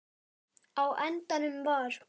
Á endanum var